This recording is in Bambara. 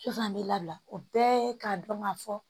Sisan an b'i labila o bɛɛ ye k'a dɔn ka fɔ